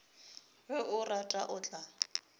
ge a rata o tla